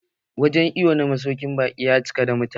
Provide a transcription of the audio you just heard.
Wurin iwon na masaukin baƙi ya cika da mutane.